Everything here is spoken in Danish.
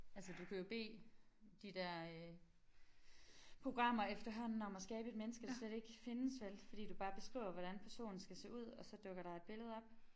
Altså du kan jo bede de der øh programmer efterhånden om at skabe et menneske der slet ikke findes vel fordi du bare beskriver hvordan personen skal se ud og så dukker der et billede op